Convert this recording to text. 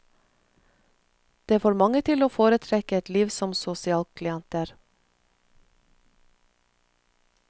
Det får mange til å foretrekke et liv som sosialklienter.